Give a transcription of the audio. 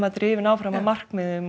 drifinn áfram af markmiðum